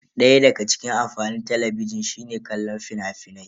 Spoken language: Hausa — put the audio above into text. Daya daga cikin amfanin Talabijin shine kallon fina-finai.